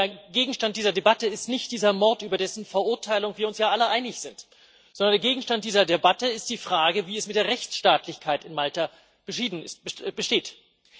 Aber der Gegenstand dieser Debatte ist nicht dieser Mord, über dessen Verurteilung wir uns ja alle einig sind, sondern der Gegenstand dieser Debatte ist die Frage, wie es mit der Rechtsstaatlichkeit in Malta bestellt ist.